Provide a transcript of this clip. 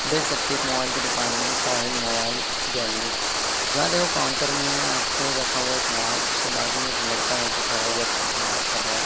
देख सकते है एक मोबाइल की दुकान है ये साहिल मोबाइल गैलरी जहां देखो काउंटर में आपको रखा हुआ एक मोबाइल उसके बाजू में एक लड़का है जो खड़ा हुआ काउंटर पर बात कर रहा है।